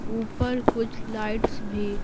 ऊपर कुछ लाइट्स भी--